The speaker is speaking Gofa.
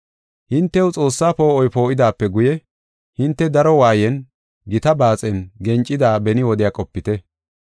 Hintew Xoossaa poo7oy poo7idaape guye hinte daro waayen, gita baaxen gencida beni wodiya qopite.